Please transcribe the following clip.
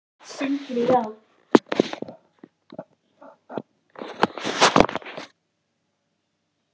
Sindri: Já, hvernig heldurðu að flokknum muni ganga í kosningum?